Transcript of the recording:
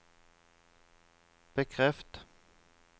bekreft